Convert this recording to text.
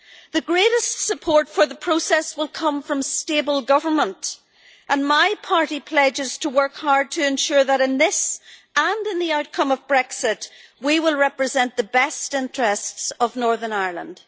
The greatest support for the process will come from stable government, and my party pledges to work hard to ensure that in this, and in the outcome of Brexit, we will represent the best interests of Northern Ireland.